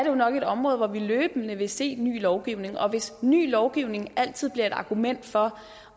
jo nok et område hvor vi løbende vil se ny lovgivning og hvis ny lovgivning altid bliver et argument for